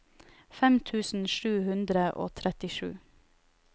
fem tusen sju hundre og trettisju